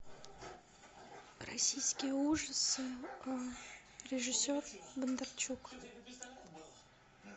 российские ужасы режиссер бондарчук